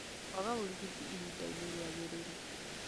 Kwaga ũrigiti ihinda-inĩ riagĩrĩru